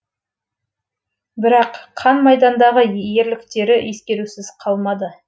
бірақ қан майдандағы ерліктері ескерусіз қалмады